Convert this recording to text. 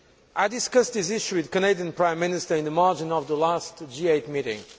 I discussed this issue with the Canadian Prime Minister in the margins of the last G8 meeting.